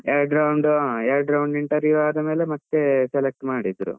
ಎರಡು round , ಹಾ ಎರಡು round interview ಆದ ಮೇಲೆ ಮತ್ತೆ select ಮಾಡಿದ್ರು.